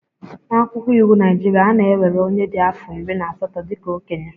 N'akwụkwọ iwu Naịjirịa, a na-ewere onye dị afọ iri na asatọ dị ka okenye